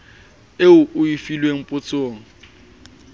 eo o e filweng potsong